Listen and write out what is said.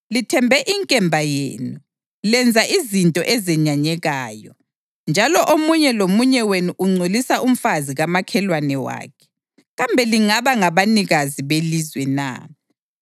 Lithembe inkemba yenu, lenza izinto ezenyanyekayo, njalo omunye lomunye wenu ungcolisa umfazi kamakhelwane wakhe. Kambe lingaba ngabanikazi belizwe na?’